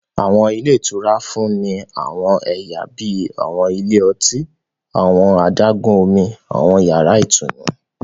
Àwọn ilé ìtura ń fún ni àwọn ẹyà bíi àwọn ilé ọtí, àwọn adágún-Omi, àwọn yàrá ìtùnú